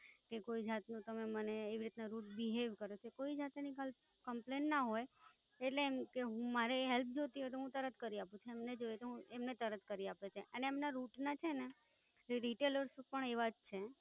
કે કોઈ જાતનો તમે મને એવી રીતના Rude Behaviour કરો છો, કોઈ જાતની કાંઈ Complainant ના હોય. એટલે એમ કે હુ મારે Help જોતી હોય તું હુ તરત કરી આપું, એમને જોઈએ તું હુ એમને તરત કરી આપું છે. અને એમના Rut ના છે ને, એ Rattlers પણ એવા જ છે.